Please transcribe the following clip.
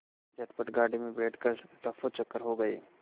झटपट गाड़ी में बैठ कर ऱफूचक्कर हो गए